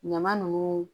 Ɲama nunnu